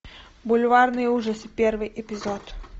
бульварные ужасы первый эпизод